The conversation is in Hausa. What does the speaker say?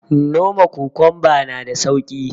Noma kokunba na da sauki